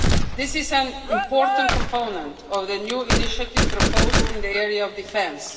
This is an important component of the new initiative proposed in the area of defence.